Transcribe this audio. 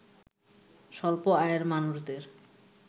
স্বল্প আয়ের মানুষদের